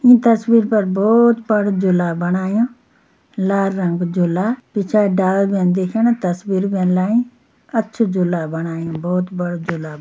ईं तस्वीर पर बहोत बड़ु झुला बणायु लाल रंग कू झुला पिछाड़ी डाला भीन दिखेणा तस्वीर भीन लाई अच्छु झूला बणायु बहोत बड़ु झुला।